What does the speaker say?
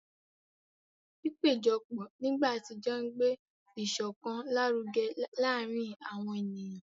Pípéjọpọ̀ nígbà àtijọ́ ń gbé ìṣọ̀kan lárugẹ láàárín àwọn ènìyàn.